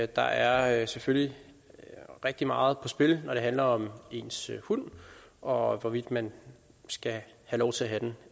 der er selvfølgelig rigtig meget på spil når det handler om ens hund og hvorvidt man skal have lov til at have den